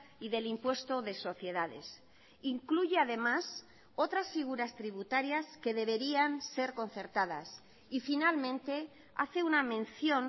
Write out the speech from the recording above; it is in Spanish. y del impuesto de sociedades incluye además otras figuras tributarias que deberían ser concertadas y finalmente hace una mención